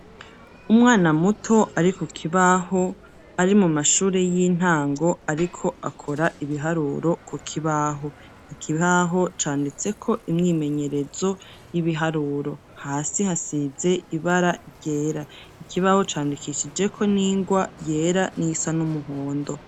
Umwana muto ari kukibaho ari mu mashuri yintango ariko akora ibiharuro ku kibaho, ikibaho canditseko imyimenyerezo yibiharuro hasi hasize ibara ryera, ikibaho candikishijeko n'ingwa yera n'iyisa n'umuhondo.